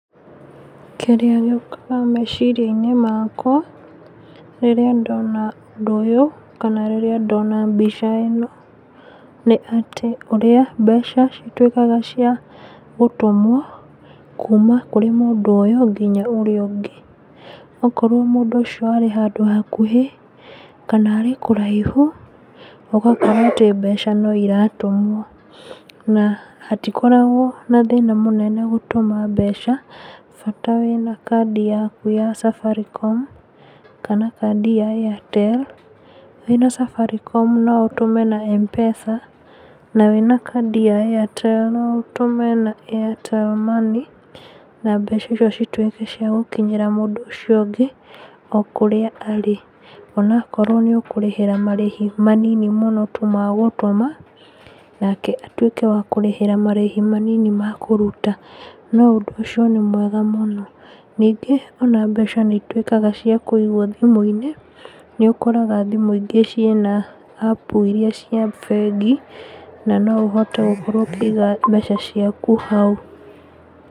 Kĩrĩa gĩũkaga meciria-inĩ makwa, rĩrĩa ndona ũndũ ũyũ kana rĩrĩa ndona mbica ĩno, nĩ atĩ ũrĩa mbeca citwĩkaga cia gũtũmwo, kuma kũrĩ mũndũ ũyũ nginya ũyũ ũngĩ, okorwo mũndũ ũcio arĩ handũ hakuhĩ, kana arrĩ kũraihu, ũgakora atĩ mbeca noiratũmwo, na hatikoragwo na thĩna mũnene gũtũma mbeca, bata wína kandi yaku ya safaricom, kana kandi ya Airtel, wĩna safaricom noũtũme na M-PESA, na wĩna kandi ya Airtel noũtũme na Airtel Money, na mbeca isio citwĩke cia gũkinyĩra mũndũ ũcio ũngĩ, o kũrĩa arĩ, onakorwo nĩũkũrĩhĩra marĩhi manini tu ma gũtũma, nake atwĩke wa kũrĩhĩra marĩhi manini ma kũruta, na ũndũ ũcio nĩ mwega mũno, ningí, ona mbeca níitwĩkaa cia kũigwo thimũ-inĩ, nĩũkoraga thimũ ingĩ ciĩna, apu iria cia bengi, na noũhote gũkorwo ũkĩiga mbeca ciaku hau.